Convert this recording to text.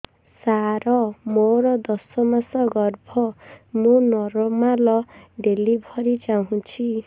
ସାର ମୋର ଦଶ ମାସ ଗର୍ଭ ମୁ ନର୍ମାଲ ଡେଲିଭରୀ ଚାହୁଁଛି